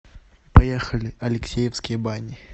поехали алексеевские бани